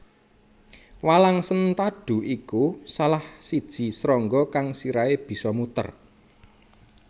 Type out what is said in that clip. Walang sentadu iku salah siji srangga kang sirahe bisa muter